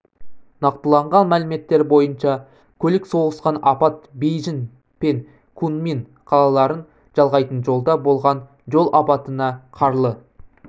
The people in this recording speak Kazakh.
нақтыланған мәліметтер бойынша көлік соғысқан апат бейжің пен кунмин қалаларын жалғайтын жолда болған жол апатына қарлы